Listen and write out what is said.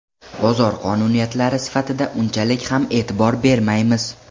Bozor qonuniyatlari sifatida unchalik ham e’tibor bermaymiz.